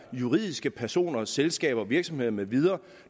juridiske personer selskaber virksomheder med videre